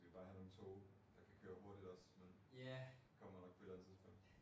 Så skal vi bare have nogle toge der kan køre hurtigt også men men kommer nok på et eller andet tidspunkt